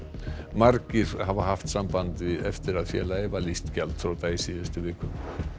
margir hafa haft samband eftir að félagið var lýst gjaldþrota í síðustu viku